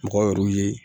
Mɔgɔw yɛrɛrw ye